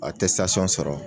sɔrɔ